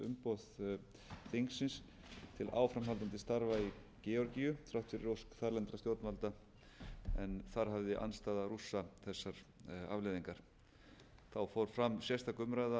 ekki umboð þingsins til áframhaldandi starfa í georgíu þrátt fyrir ósk þarlendra stjórnvalda en þar hafði andstaða rússa þessar afleiðingar þá fór fram sérstök umræða á vetrarfundi öse þingsins um tillögu dmitris medvedevs forseta rússlands frá